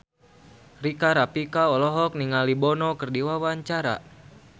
Rika Rafika olohok ningali Bono keur diwawancara